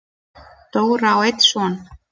Dóra á einn son.